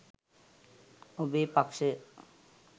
ඔබේ පක්‍ෂය